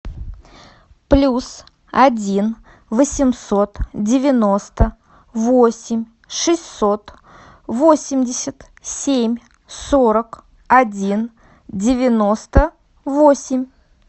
плюс один восемьсот девяносто восемь шестьсот восемьдесят семь сорок один девяносто восемь